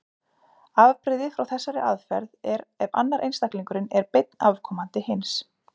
Afbrigði frá þessari aðferð er ef annar einstaklingurinn er beinn afkomandi hins.